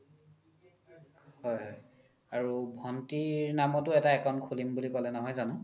হয় আৰু ভন্তিৰ নামতো এটা account খুলিম বুলি ক'লে নহয় জানো ?